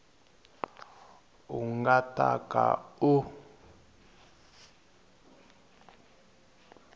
u nga ta ka u